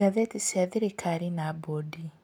Ngathĩti cia thirikari na bondi: